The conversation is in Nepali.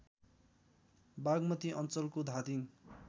बागमती अञ्चलको धादिङ